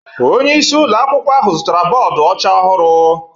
Onye isi ụlọ akwụkwọ ahụ zụtara bọọdụ ọcha ọhụrụ.